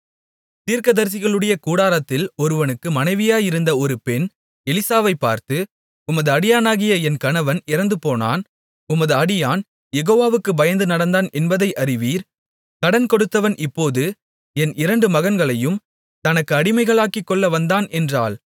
தீர்க்கதரிசிகளுடைய கூட்டத்தாரில் ஒருவனுக்கு மனைவியாயிருந்த ஒரு பெண் எலிசாவைப் பார்த்து உமது அடியானாகிய என் கணவன் இறந்துபோனான் உமது அடியான் யெகோவாவுக்குப் பயந்து நடந்தான் என்பதை அறிவீர் கடன் கொடுத்தவன் இப்போது என் இரண்டு மகன்களையும் தனக்கு அடிமைகளாக்கிக்கொள்ள வந்தான் என்றாள்